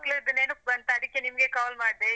ಮಕ್ಕಳದ್ದು ನೆನಪ್ ಬಂತಾ, ಅದಿಕ್ಕೆ ನಿಮ್ಗೆ call ಮಾಡ್ದೆ.